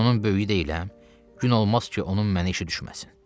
Mən onun böyüyü deyiləm, gün olmaz ki, onun mənə işi düşməsin.